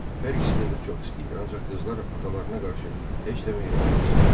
Hər ikisini də çox istəyir, ancaq qızlar atalarına qarşı heç də mehriban deyillər.